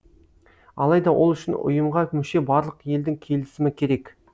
алайда ол үшін ұйымға мүше барлық елдің келісімі керек